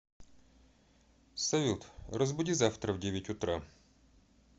салют разбуди завтра в девять утра